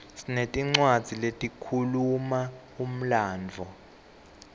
sinetincwadzi letikhuluma umlandvo